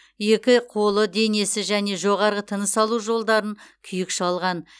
екі қолы денесі және жоғарғы тыныс алу жолдарын күйік шалған